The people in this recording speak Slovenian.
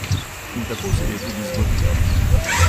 In tako se je tudi zgodilo.